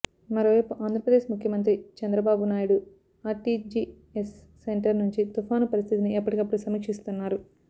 మరోవైపు ఆంధ్రప్రదేశ్ ముఖ్యమంత్రి Chandrababu Naidu RTGS centre నుంచి తుఫాను పరిస్థితిని ఎప్పటికప్పుడు సమీక్షిస్తున్నారు